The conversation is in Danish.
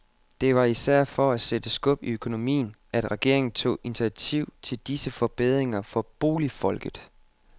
Det var især for at sætte skub i økonomien, at regeringen tog initiativ til disse forbedringer for boligfolket.